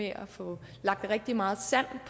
at få lagt rigtig meget sand